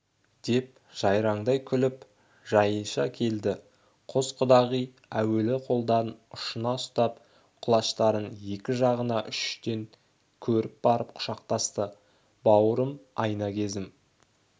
деп жайраңдай күліп жаниша келді қос құдағи әуелі қолдарын ұшынан ұстап құлаштарын екі жағына үш-үштен көріп барып құшақтасты бауырым айна кезім